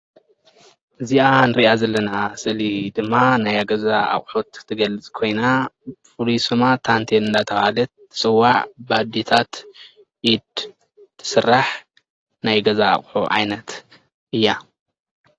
እዚኣ እንሪኣ ዘለና ስእሊ ድማ ናይ ገዛ ኣቅሑት እትገልፅ ኮይና ፍሉይ ስማ ታንትየል እናተባሃለት ትፅዋዕ ብኣዴታት ኢድ ትስራሕ ናይ ገዛ ኣቅሑ ዓይነት እያ፡፡